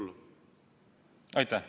Aitäh!